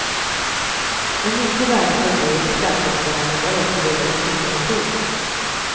En mycket värdefull del i skatteprogrammen är också de böcker som hör till.